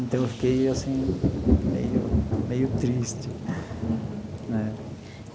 Então, eu fiquei assim meio meio triste. Uhum. Né.